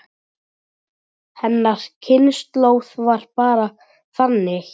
Hennar kynslóð var bara þannig.